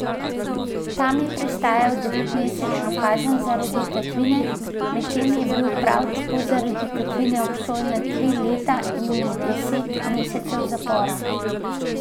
Tam je prestajal desetmesečno kazen zaradi tatvine, medtem je bil prav tako zaradi tatvine obsojen na tri leta in deset mesecev zapora.